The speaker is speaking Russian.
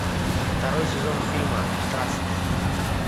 второй сезон фильма траст